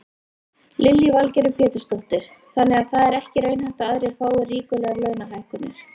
Lillý Valgerður Pétursdóttir: Þannig að það er ekki raunhæft að aðrir fái ríkulegar launahækkanir?